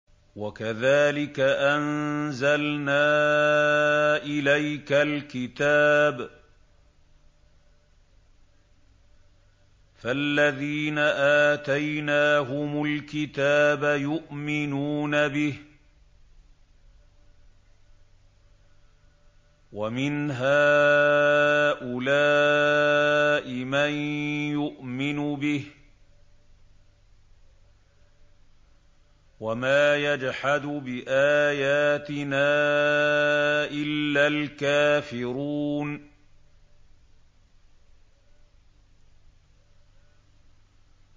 وَكَذَٰلِكَ أَنزَلْنَا إِلَيْكَ الْكِتَابَ ۚ فَالَّذِينَ آتَيْنَاهُمُ الْكِتَابَ يُؤْمِنُونَ بِهِ ۖ وَمِنْ هَٰؤُلَاءِ مَن يُؤْمِنُ بِهِ ۚ وَمَا يَجْحَدُ بِآيَاتِنَا إِلَّا الْكَافِرُونَ